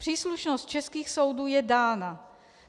Příslušnost českých soudů je dána.